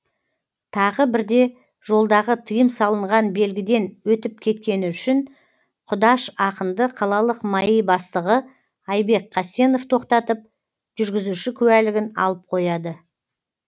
тағы бірде жолдағы тыйым салынған белгіден өтіп кеткені үшін құдаш ақынды қалалық маи бастығы айбек қасенов тоқтатып жүргізуші куәлігін алып қояды